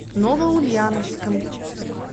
новоульяновском